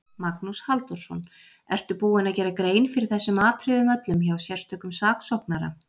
Magnús Halldórsson: Ertu búinn að gera grein fyrir þessum atriðum öllum hjá sérstökum saksóknara?